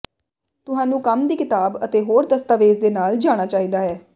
ਤੁਹਾਨੂੰ ਕੰਮ ਦੀ ਕਿਤਾਬ ਅਤੇ ਹੋਰ ਦਸਤਾਵੇਜ਼ ਦੇ ਨਾਲ ਜਾਣਾ ਚਾਹੀਦਾ ਹੈ